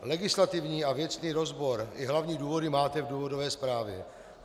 Legislativní a věcný rozbor i hlavní důvody máte v důvodové zprávě.